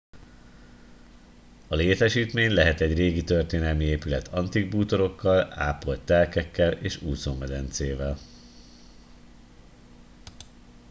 a létesítmény lehet egy régi történelmi épület antik bútorokkal ápolt telkekkel és úszómedencével